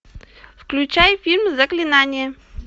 включай фильм заклинание